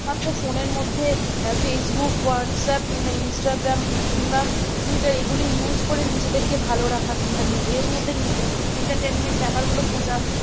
তারপর phone র মধ্যে facebook whatsapp কিম্বা instagram কিংবা tweeter এইগুলো use করে নিজেদেরকে ভালো রাখা কিংবা এর মধ্যে entertainment ব্যাপারগুলো খোঁজা